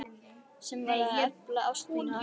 Sem varð til að efla ást mína á annarri.